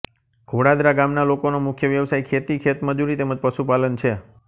ઘોડાદરા ગામના લોકોનો મુખ્ય વ્યવસાય ખેતી ખેતમજૂરી તેમ જ પશુપાલન છે